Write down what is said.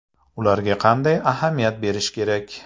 Ularga qanday ahamiyat berish kerak?